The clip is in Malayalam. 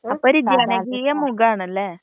അപ്പോ ഒരു ജനകീയ മുഖാണല്ലേ?